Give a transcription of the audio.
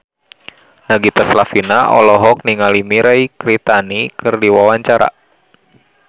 Nagita Slavina olohok ningali Mirei Kiritani keur diwawancara